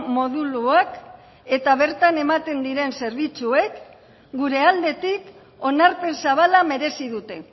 moduluak eta bertan ematen diren zerbitzuek gure aldetik onarpen zabala merezi dute